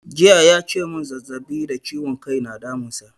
Jiya ya ce mun zazzaɓi da ciwon kai na damun sa